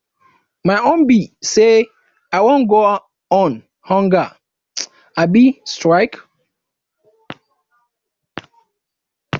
my own be say i wan go on hunger um strike